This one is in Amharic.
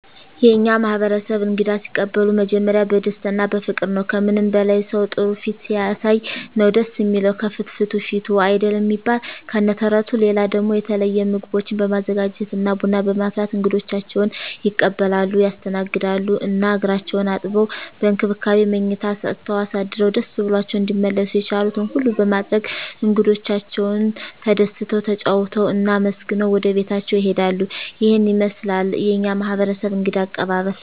የእኛ ማህበረሰብ እንግዳ ሲቀበሉ መጀመሪያ በደስታ እና በፍቅር ነዉ። ከምንም በላይ ሰዉ ጥሩ ፊት ሲያሳይ ነዉ ደስ እሚለዉ፤ ከፍትፍቱ ፊቱ አይደል እሚባል ከነ ተረቱ። ሌላ ደሞ የተለየ ምግቦችን በማዘጋጀት እና ቡና በማፍላት እንግዶቻቸዉን ይቀበላሉ (ያስተናግዳሉ) ። እና እግራቸዉን አጥበዉ፣ በእንክብካቤ መኝታ ሰጠዉ አሳድረዉ ደስ ብሏቸዉ እንዲመለሱ የቻሉትን ሁሉ በማድረግ እንግዶቻቸዉ ተደስተዉ፣ ተጫዉተዉ እና አመስግነዉ ወደቤታቸዉ ይሄዳሉ። ይሄን ይመስላል የኛ ማህበረሰብ እንግዳ አቀባበል።